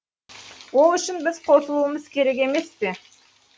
ол үшін біз қосылуымыз керек емес пе